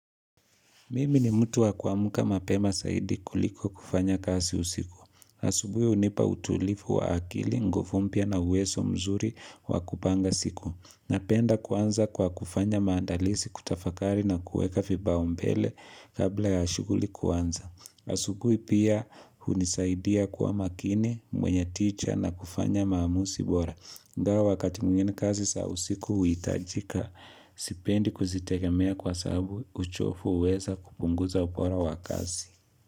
Mimi ni mtu wa kuamuka mapema saidi kuliko kufanya kasi usiku. Asubui hunipa utulifu wa akili, ngufu mpya na huweso mzuri wa kupanga siku. Napenda kuanza kwa kufanya maandalisi kutafakari na kueka vibaombele kabla ya shuguli kuanza. Asubui pia hunisaidia kuwa makini, mwenye ticha na kufanya maamusi bora. Ingawa wakati mwingine kazi sa usiku huitajika, sipendi kuzitegemea kwa sabu uchofu huweza kupunguza ubora wa kazi.